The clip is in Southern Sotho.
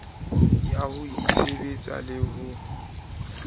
ya ho itshebetsa le ho